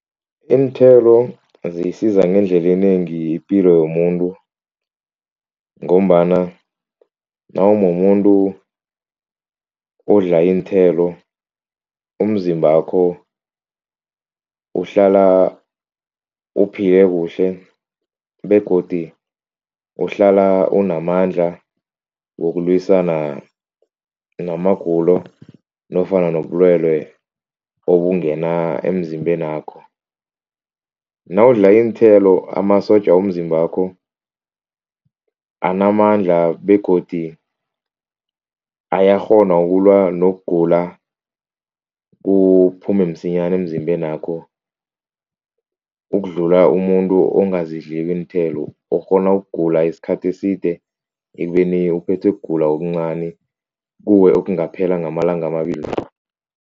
Iinthelo zisiza ngendlela inengi ipilo yomuntu ngombana nawumumuntu odla iinthelo, umzimbakho uhlala uphile kuhle begodu uhlala unamandla wokulwisana namagulo nofana nobulwelwe obungena emzimbenakho. Nawudla iinthelo amasotja womzimbakho anamandla begodi ayakghona ukulwa nokugula kuphume msinyana emzimbenakho ukudlula umuntu ongazidliko iinthelo okghona ukugula isikhathi eside ekubeni uphethwe kugula okuncani kuwe okungaphela ngamalanga amabili